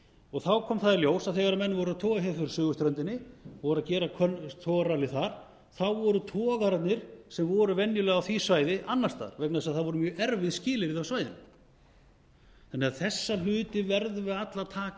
og þá kom það í ljós að þegar menn voru að toga hér fyrir suðurströndinni voru að gera togararallið þar þá voru togararnir sem voru venjulega á því svæði annars staðar vegna þess að það voru mjög erfið skilyrði á svæðinu þessa hluti verðum við því alla að taka